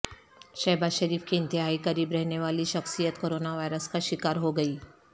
شہباز شریف کے انتہائی قریب رہنے والی شخصیت کرونا وائرس کا شکار ہو گئی